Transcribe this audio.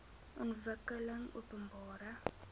ontwikkelingopenbare